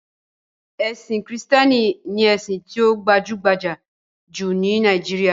Ẹ̀sin Kìrìtẹ̀ẹ́nì ni ẹ̀sìn tí ó gbajúgbajà jù ní Nàíjíríà.